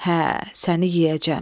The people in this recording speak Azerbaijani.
Hə, səni yeyəcəm.